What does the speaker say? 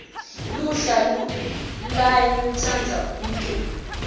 lulha luyainu tsandza umculo